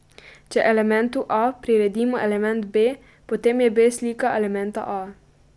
Če elementu a priredimo element b, potem je b slika elementa a.